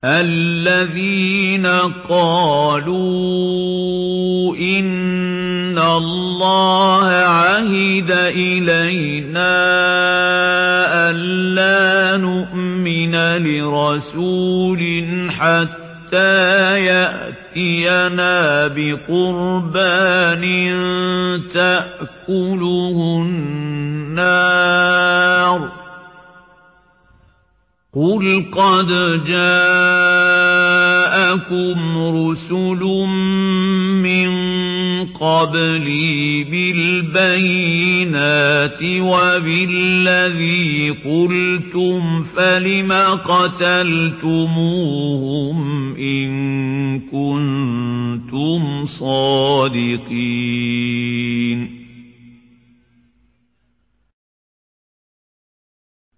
الَّذِينَ قَالُوا إِنَّ اللَّهَ عَهِدَ إِلَيْنَا أَلَّا نُؤْمِنَ لِرَسُولٍ حَتَّىٰ يَأْتِيَنَا بِقُرْبَانٍ تَأْكُلُهُ النَّارُ ۗ قُلْ قَدْ جَاءَكُمْ رُسُلٌ مِّن قَبْلِي بِالْبَيِّنَاتِ وَبِالَّذِي قُلْتُمْ فَلِمَ قَتَلْتُمُوهُمْ إِن كُنتُمْ صَادِقِينَ